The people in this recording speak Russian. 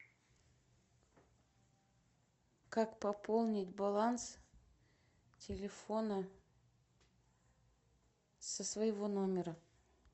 как пополнить баланс телефона со своего номера